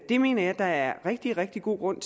det mener jeg der er rigtig rigtig god grund